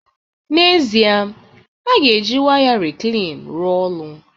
N'ezie, a ga-eji waya reclean rụọ ọrụ